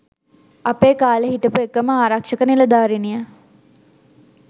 අපේ කාලෙ හිටපු එකම ආරක්ෂක නිළධාරිණිය